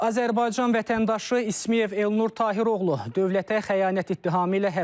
Azərbaycan vətəndaşı İsmıyev Elnur Tahiroğlu dövlətə xəyanət ittihamı ilə həbs olunub.